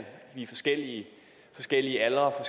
i forskellige forskellige aldre og